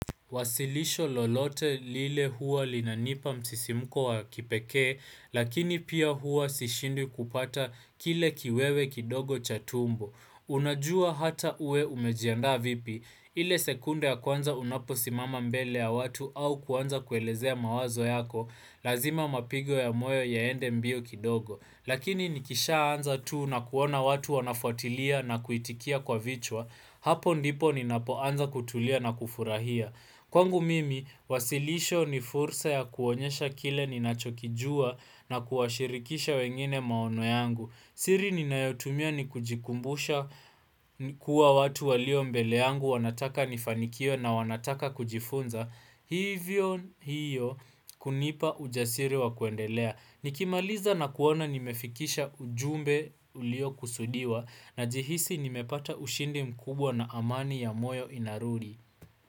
Wasilisho lolote lile huwa linanipa msisimuko wa kipekee, lakini pia huwa sishindwi kupata kile kiwewe kidogo cha tumbo. Unajua hata uwe umejiandaa vipi, ile sekunde ya kwanza unapo simama mbele ya watu au kuanza kuelezea mawazo yako, lazima mapigo ya moyo yaende mbio kidogo. Lakini nikisha anza tu na kuona watu wanafuatilia na kuitikia kwa vichwa, hapo ndipo ninapo anza kutulia na kufurahia. Kwangu mimi, wasilisho ni fursa ya kuonyesha kile ninachokijua na kuashirikisha wengine maono yangu. Siri ni nayotumia ni kujikumbusha kuwa watu walio mbele yangu wanataka nifanikiwe na wanataka kujifunza. Hivyo hiyo kunipa ujasiri wa kuendelea. Nikimaliza na kuona nimefikisha ujumbe ulio kusudiwa najihisi nimepata ushindi mkubwa na amani ya moyo inarudi.